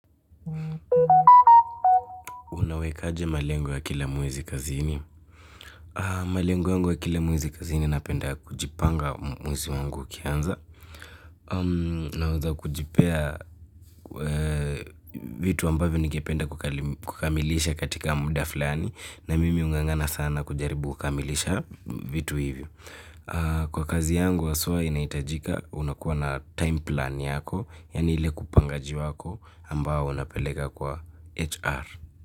Unawekaje malengo ya kila mwezi kazini? Malengo ya kila mwezi kazini napenda kujipanga mwezi wangu ukianza. Naanza kujipea vitu ambavyo ningependa kukamilisha katika muda fulani. Na mimi hungangana sana kujaribu kukamilisha vitu hivyo. Kwa kazi yangu haswa inahitajika unakuwa na time plan yako. Yani ile kupangaji wako ambao unapeleka kwa HR.